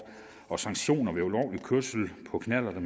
og sanktioner ved ulovlig kørsel på knallerter